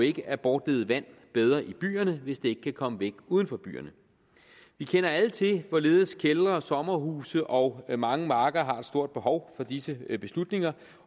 ikke at bortlede vand bedre i byerne hvis det ikke kan komme væk uden for byerne vi kender alle til hvorledes kældre sommerhuse og mange marker er et stort behov for disse beslutninger